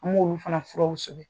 An ye olu fana furaw sɛbɛn.